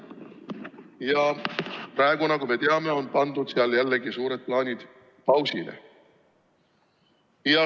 Ja praegu, nagu me teame, on pandud jällegi seal suured plaanid pausile.